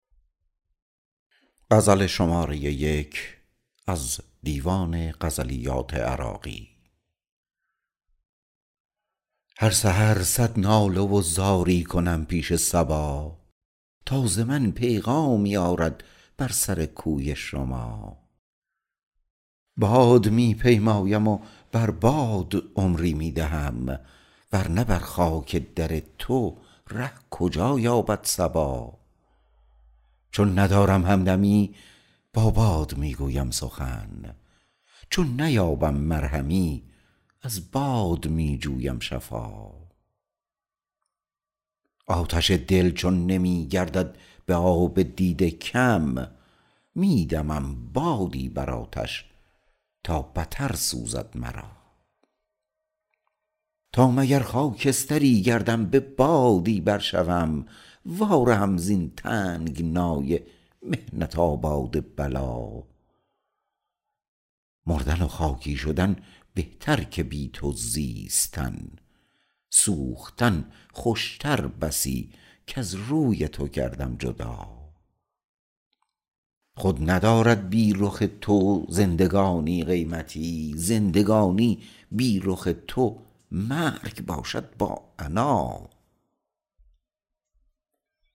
هر سحر صد ناله و زاری کنم پیش صبا تا ز من پیغامی آرد بر سر کوی شما باد می پیمایم و بر باد عمری می دهم ورنه بر خاک در تو ره کجا یابد صبا چون ندارم همدمی با باد می گویم سخن چون نیابم مرهمی از باد می جویم شفا آتش دل چون نمی گردد به آب دیده کم می دمم بادی بر آتش تا بتر سوزد مرا تا مگر خاکستری گردم به بادی بر شوم وا رهم زین تنگنای محنت آباد بلا مردن و خاکی شدن بهتر که بی تو زیستن سوختن خوشتر بسی کز روی تو گردم جدا خود ندارد بی رخ تو زندگانی قیمتی زندگانی بی رخ تو مرگ باشد با عنا